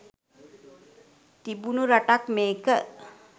තිබුණු රටක් මේක.